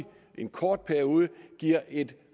en kort periode giver et